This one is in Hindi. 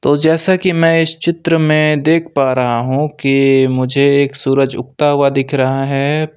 तो जैसा कि मैं इस चित्र में देख पा रहा हूं कि मुझे एक सूरज उगता हुआ दिख रहा है।